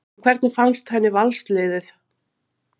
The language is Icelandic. En hvernig fannst henni Vals liðið?